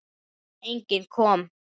Enginn kom.